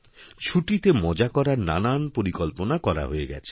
ছুটিতে মজা করার নানান পরিকল্পনা করা হয়ে গেছে